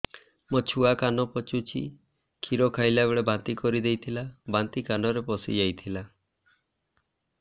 ମୋ ଛୁଆ କାନ ପଚୁଛି କ୍ଷୀର ଖାଇଲାବେଳେ ବାନ୍ତି କରି ଦେଇଥିଲା ବାନ୍ତି କାନରେ ପଶିଯାଇ ଥିଲା